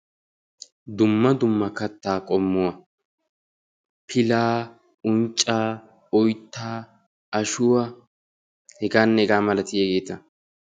dumma dumma kattaa qommuwaa: pilaa, uncca, oyttaa, ashshuwaa heganne hegaa malatiyaageta